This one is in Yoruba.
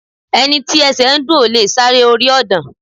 Ẹni tí ẹsẹ̀ ń dùn ò lè sáré orí ọ̀dàn